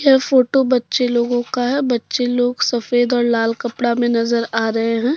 ये फोटो बच्चे लोगों का हैं बच्चे लोग सफेद और लाल कपड़ा में नजर आ रहे हैं।